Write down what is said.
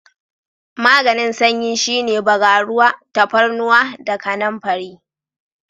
Maganin sanyi shine bagaruwa, tafarnuwa da kanamfari.